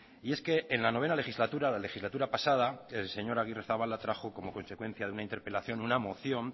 y es que en la noveno legislatura la legislatura pasada el señor agirrezabala trajo como consecuencia de una interpelación una moción